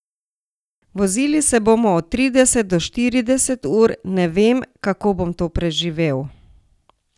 Vozili se bomo od trideset do štirideset ur, ne vem, kako bom to preživel.